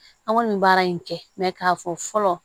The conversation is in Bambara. An kɔni bɛ baara in kɛ mɛ k'a fɔ fɔlɔ